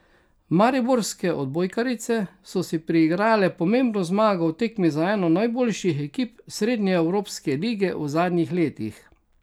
Mariborske odbojkarice so si priigrale pomembno zmago v tekmi z eno najboljših ekip srednjeevropske lige v zadnjih letih.